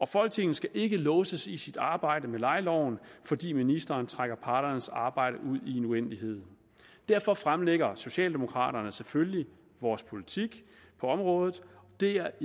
folketinget skal ikke låses i sit arbejde med lejeloven fordi ministeren trækker parternes arbejde ud i en uendelighed derfor fremlægger socialdemokrater selvfølgelig vores politik på området og det er